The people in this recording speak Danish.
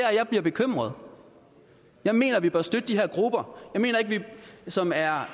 jeg bliver bekymret jeg mener at vi bør støtte de her grupper som er